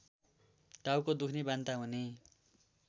टाउको दुख्ने वान्ता हुने